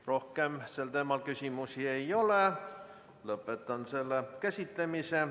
Rohkem sellel teemal küsimusi ei ole, lõpetan selle käsitlemise.